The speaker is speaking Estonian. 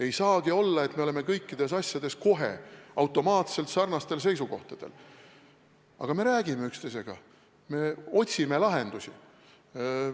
Ei saagi olla, et me oleme kõikides asjades kohe automaatselt sarnastel seisukohtadel, aga me räägime üksteisega, me otsime lahendusi.